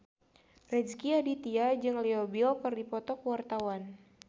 Rezky Aditya jeung Leo Bill keur dipoto ku wartawan